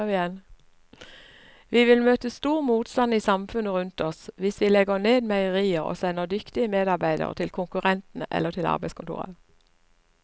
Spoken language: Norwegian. Vi vil møte stor motstand i samfunnet rundt oss hvis vi legger ned meierier og sender dyktige medarbeidere til konkurrentene eller til arbeidskontoret.